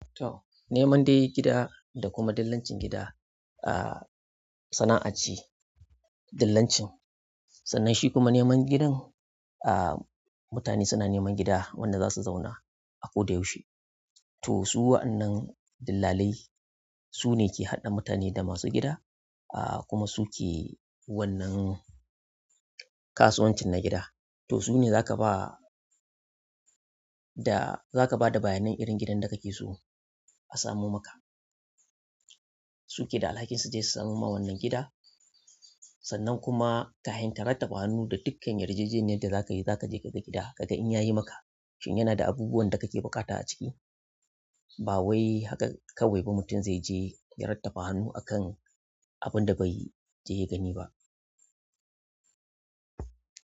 To, neman dai gida da kuma dillancin gida, aah sana'a ce. Dillancin sannan shi kuma neman gidan. Ah mutane suna neman gida wanda za su zauna a koda yaushe. To su wa'annan dillalai su ne ke haɗa mutane da masu gida, aah kuma su ke wannan kasuwancin na gida. To su ne za ka ba da, za ka ba da bayanan irin gidan da ka ke so a samo maka. Su ke da alhakin su je su samo maka wannan gida sannan kuma kafin ka raftaka hannu da dukkan yarjejeniyar da za ka yi. Zakaje kaga gida kaga in yayi maka shin yana da abubuwan da kake buƙata a ciki ba wai haka kawai ba mutum zai je ya rattaba hannu akan abun da bai je ya gani ba.